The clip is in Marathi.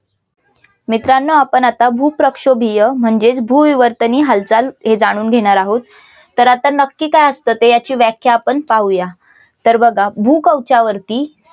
मित्रांनो आपण आता भूप्रक्षोभीय म्हणजेच भूविवर्तनीय हालचाल हे जाणून घेणार आहोत. तर आता नक्की काय असतं ते याची व्याख्या आपण पाहूया. तर बघा. भूकवचावरती